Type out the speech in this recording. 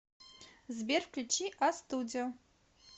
сбер включи астудио